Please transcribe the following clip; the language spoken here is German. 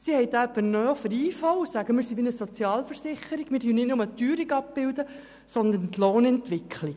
Sie hat ihn von der IV übernommen und erklärt, sie sei wie eine Sozialversicherung und bilde nicht nur die Teuerung ab, sondern auch die Lohnentwicklung.